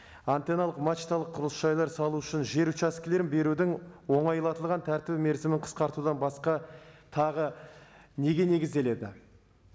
антенналық мачталық құрылыс жайларды салу үшін жер участкілерін берудің оңайлатылған тәртібі мерзімін қысқартудан басқа тағы неге негізделеді